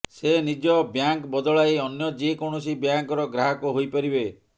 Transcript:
ସେ ନିଜ ବ୍ୟାଙ୍କ ବଦଳାଇ ଅନ୍ୟ ଯେ କୌଣସି ବ୍ୟାଙ୍କର ଗ୍ରାହକ ହୋଇପାରିବେ